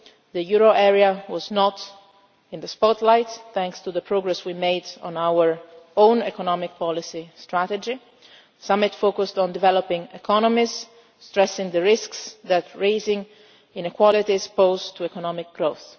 The euro area was not in the spotlight, thanks to the progress we have made on our own economic policy strategy. The summit focused on developing economies, stressing the risks that raising inequalities posed to economic